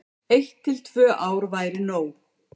Eitt til tvö ár væri nóg.